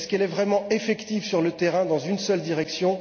Est elle vraiment effective sur le terrain, dans une seule direction?